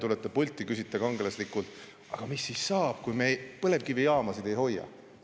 Tulete pulti, küsite kangelaslikult: "Aga mis siis saab, kui me põlevkivijaamasid ei hoia?